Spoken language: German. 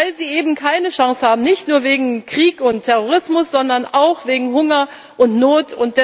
Weil sie eben keine Chance haben, nicht nur wegen Krieg und Terrorismus, sondern auch wegen Hunger und Not.